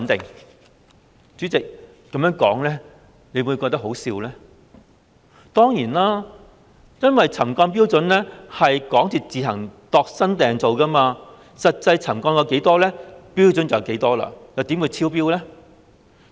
代理主席，此說法真的可笑，因為沉降標準由港鐵公司自行"度身訂造"，實際沉降了多少，標準就會是多少，又怎會超標呢？